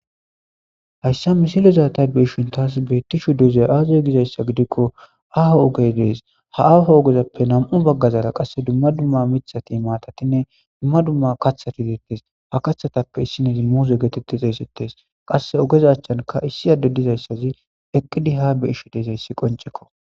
hayssa misilezaatay beishin taas beetti shu dezey aaziy gizayssa gidikko aho ogey dees ha aho ogezappe nam7u baggazara qasse dumma dumma mithati maatatinne dumma dumma kathati dietes ha kathatappe issinezi muuze geetette xeesetes qasse ogezachchanka issi adde dizayssazi eqqidi ha be isho deesayssi qoncekko